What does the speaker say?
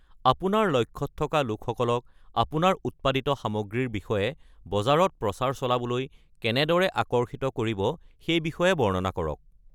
আপোনাৰ লক্ষ্যত থকা লোকসকলক আপোনাৰ উৎপাদিত সামগ্ৰীৰ বিষয়ে বজাৰত প্ৰচাৰ চলাবলৈ কেনেদৰে আকৰ্ষিত কৰিব সেই বিষয়ে বৰ্ণনা কৰক।